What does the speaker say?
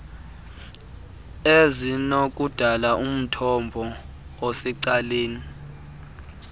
ezinokudala umthombo osecaleni